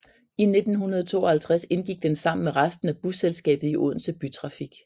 I 1952 indgik den sammen med resten af busselskabet i Odense Bytrafik